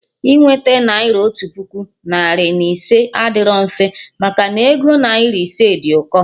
Inweta naira otu puku, narị na ise adịrọ mfe, maka na ego naira ise dị ụkọ